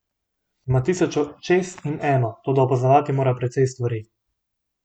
Ima tisoč očes in eno, toda opazovati mora precej stvari.